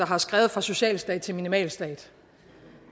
har skrevet fra socialstat til minimalstat